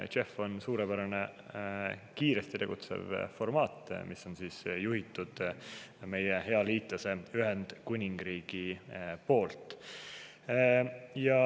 JEF on suurepärane kiiret tegutsemist formaat, mida on juhtinud meie hea liitlane Ühendkuningriik.